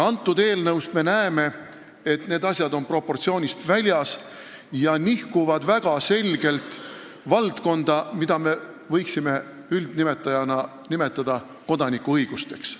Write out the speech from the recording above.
Selles eelnõus on need proportsioonid paigast ära ja nihkutakse väga selgelt valdkonda, mida me võime nimetada kodanikuõigusteks.